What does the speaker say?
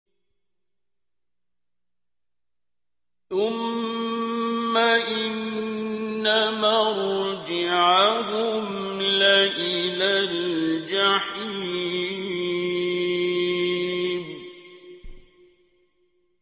ثُمَّ إِنَّ مَرْجِعَهُمْ لَإِلَى الْجَحِيمِ